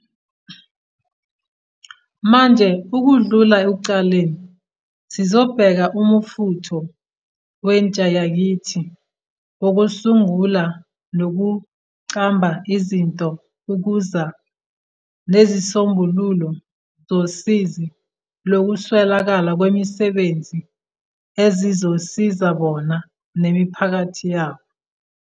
Manje ukudlula ekuqaleni sizobheka umfutho wentshayakithi wokusungula nokuqamba izinto ukuza nezisombululo zosizi lokuswelakala kwemisebenzi ezizosiza bona, nemiphakathi yabo.